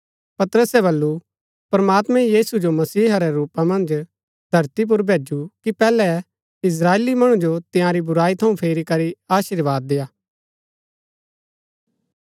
पतरसै बल्लू प्रमात्मैं यीशु जो मसीहा रै रूपा मन्ज धरती पुर भैजु कि पैहलै इस्त्राएली मणु जो तंयारी बुराई थऊँ फेरी करी अशीर्वाद देय्आ